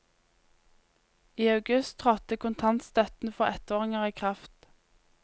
I august trådte kontantstøtten for ettåringer i kraft.